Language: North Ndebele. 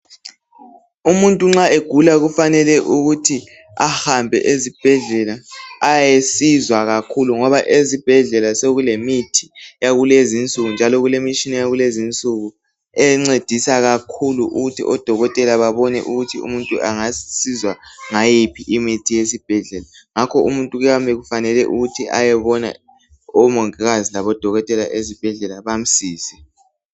Umuntu nxa egula kufanele ukuthi ahambe ezibhedlela ayesizwa kakhulu ngoba ezibhedlela sokulemithi yakulezinsuku njalo kulemitshina yakulezinsuku encedisa kakhulu ukuthi odokotela babone ukuthi umuntu angasizwa ngayiphi imithi yesibhedlela ngakho umuntu kuyabe kufanele ukuthi ayebona omongikazi labodokotela ezibhedlela bamsize.